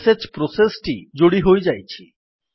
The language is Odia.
ଶ୍ ପ୍ରୋସେସ୍ ଟି ଯୋଡି ହୋଇଯାଇଛି